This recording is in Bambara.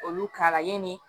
Olu ka layini